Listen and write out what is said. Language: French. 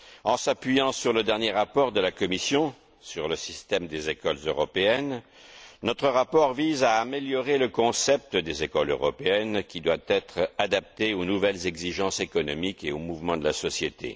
En s'appuyant sur le dernier rapport de la Commission, sur le système des écoles européennes, notre rapport vise à améliorer le concept des écoles européennes qui doit être adapté aux nouvelles exigences économiques et aux mouvements de la société.